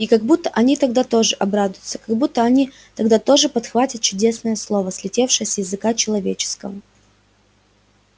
и как будто они тогда тоже обрадуются как будто они тогда тоже подхватят чудесное слово слетевшее с языка человеческого